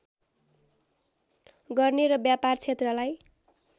गर्ने र व्यापार क्षेत्रलाई